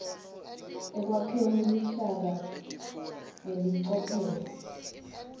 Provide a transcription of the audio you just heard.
ekwakheni luhlaka ngelicophelo